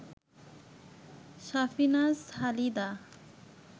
Safinaz Halida